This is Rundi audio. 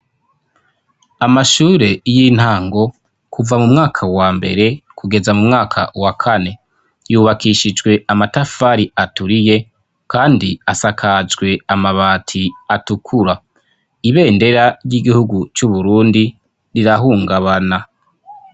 amashure y'intango kuva mumwaka wa mbere kugeza mumwaka wa kane yubakishijwe amatafari aturiye kandi asakajwe amabati atukura ibendera ry'igihugu c'uburundi rirahungabana